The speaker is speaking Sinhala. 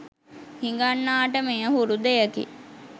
හිඟන්නාට මෙය හුරු දෙයකි.